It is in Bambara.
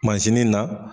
na